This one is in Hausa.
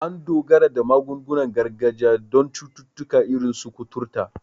An dogara da magungunan gargajiya don cututtuka irin su kuturta.